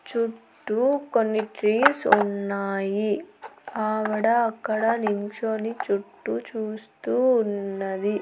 చుట్టూ కొన్ని ట్రీస్ ఉన్నాయి ఆవిడ అక్కడ నించొని చుట్టూ చూస్తూ ఉన్నది.